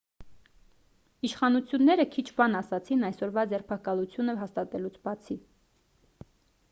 իշխանությունները քիչ բան ասացին այսօրվա ձերբակալությունը հաստատելուց բացի